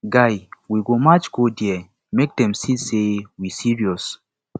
guy we go march go there make dem see say we serious